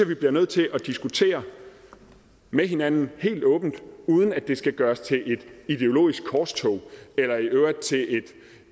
vi bliver nødt til at diskutere med hinanden helt åbent uden at det skal gøres til et ideologisk korstog eller i øvrigt til